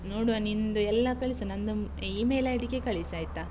ನೋಡ್ವಾ ನಿಂದು ಎಲ್ಲ ಕಳಿಸು. ನಂದು email ID ಗೆ ಕಳಿಸಾಯ್ತಾ?